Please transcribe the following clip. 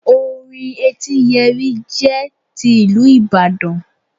Orin etíyẹrí jẹ́ ti ìlú ìbàdàn